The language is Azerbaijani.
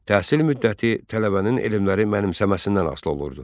Təhsil müddəti tələbənin elmləri mənimsəməsindən asılı olurdu.